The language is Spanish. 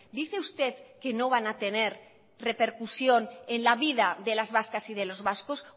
dice usted que no van a tener repercusión en la vida de las vascas y de los vascos